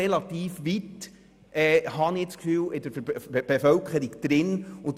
Aber das Bewusstsein ist in der Bevölkerung schon relativ verbreitet, habe ich das Gefühl.